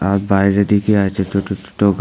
আর বাইরে দিকে আছে ছোট ছোটো গা--